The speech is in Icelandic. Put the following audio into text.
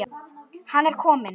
Hann er kominn!